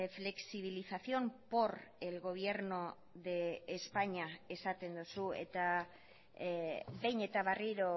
flexibilización por el gobierno de españa esaten duzu eta behin eta berriro